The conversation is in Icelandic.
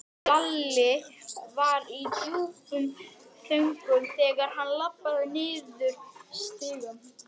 Hrund Þórsdóttir: Hvað hyggstu gera?